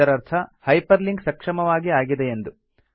ಇದರರ್ಥ hyperlink ಸಕ್ಷಮವಾಗಿ ಆಗಿದೆಯೆಂದು